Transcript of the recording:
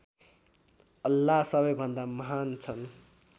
अल्लाह सबैभन्दा महान् छन्